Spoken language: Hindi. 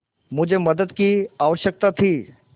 मुझे मदद की आवश्यकता थी